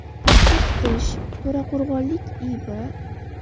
paxta titish, to‘raqo‘rg‘onlik I.B.